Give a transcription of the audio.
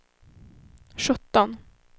sjutton